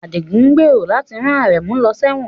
Adigun gbèrò láti rán Aremu lọ sẹ́wọ̀n